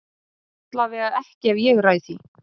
Allavega ekki ef ég ræð því.